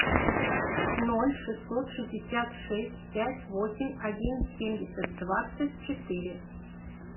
ноль шестьсот шестьдесят шесть пять восемь один семьдесят двадцать четыре